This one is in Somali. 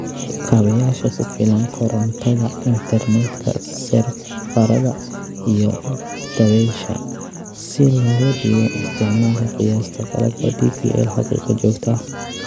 Kaabayaasha ku filan (korontada, interneedka, seerfarrada, iyo dabaysha) si looga dhigo isticmaalka qiyaasta qalabka DPL xaqiiqo joogto ah.